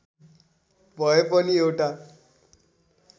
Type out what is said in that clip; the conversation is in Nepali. भए पनि एउटा